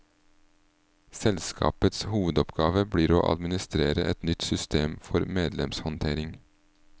Selskapets hovedoppgave blir å administrere et nytt system for medlemshåndtering.